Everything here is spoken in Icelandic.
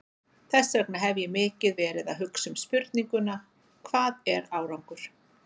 Þess vegna hef ég mikið verið að hugsa um spurninguna, hvað er árangur?